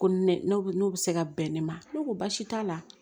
Ko ni ne bɛ n'o bɛ se ka bɛn ne ma ne ko baasi t'a la